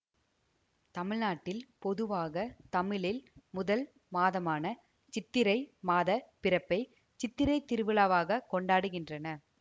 தமிழ்நாட்டில் பொதுவாக தமிழில் முதல் மாதமான சித்திரை மாதப் பிறப்பை சித்திரை திருவிழாவாகக் கொண்டாடுகின்றனர்